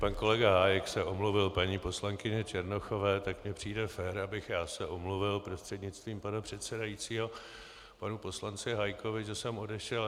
Pan kolega Hájek se omluvil paní poslankyni Černochové, tak mi přijde fér, abych já se omluvil prostřednictvím pana předsedajícího panu poslanci Hájkovi, že jsem odešel.